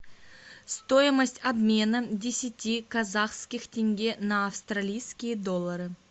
стоимость обмена десяти казахских тенге на австралийские доллары